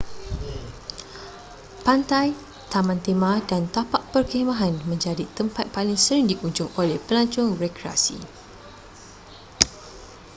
pantai taman tema dan tapak perkhemahan menjadi tempat paling sering dikunjung oleh pelancong rekreasi